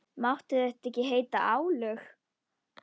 Máttu þetta ekki heita álög?